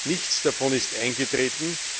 Nichts davon ist eingetreten.